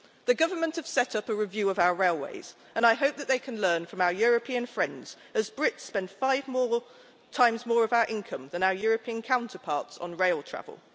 The Government has set up a review of our railways and I hope that it can learn from our European friends as Brits spend five times more of our income than our European counterparts on rail travel.